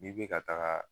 N'i bɛ ka taga